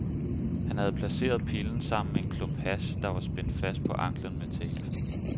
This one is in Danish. Han havde placeret pillen sammen med en klump hash, der var spændt fast på ankelen med tape.